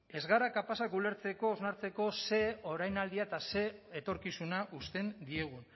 ez gara kapaz ulertzeko hausnartzeko ze orainaldia eta ze etorkizuna uzten diegu